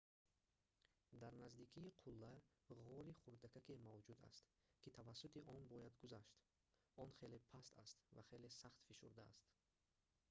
дар наздикии қулла ғори хурдакаке мавҷуд аст ки тавассути он бояд гузашт он хеле паст аст ва хеле сахт фишурдааст